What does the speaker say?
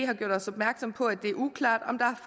har gjort os opmærksomme på at det er uklart om der